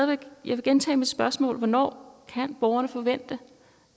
vil gentage mit spørgsmål hvornår kan borgerne forvente